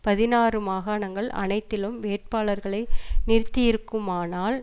பதினாறு மாகாணங்கள் அனைத்திலும் வேட்பாளர்களை நிறுத்தியிருக்குமானால்